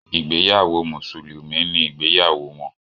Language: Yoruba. Ìgbéyàwó mùsùlùmí ni ìgbéyàwó wọn.